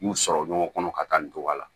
N y'u sɔrɔ ɲɔgɔn kɔnɔ ka taa nin togoya la